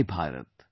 My Bharat